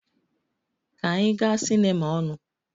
Ka anyị gaa cinema ọnụ!